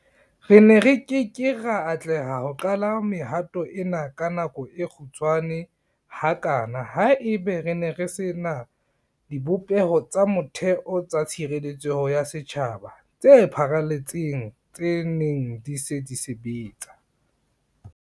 Re ne re ke ke ra atleha ho qala mehato ena ka nako e kgutshwane hakana haeba re ne re se na dibopeho tsa motheo tsa tshireletseho ya setjhaba tse pharaletseng tse neng di se di sebetsa.